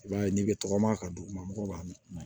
I b'a ye n'i bɛ tɔgɔma ka dugumana mɔgɔw b'a mi